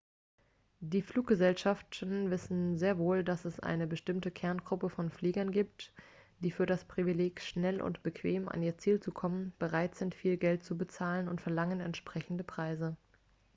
die fluggesellschaften wissen sehr wohl dass es eine bestimmte kerngruppe von fliegern gibt die für das privileg schnell und bequem an ihr ziel zu kommen bereit sind viel geld zu bezahlen und verlangen entsprechende preise